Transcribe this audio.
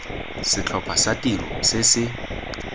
setlhopha sa tiro se se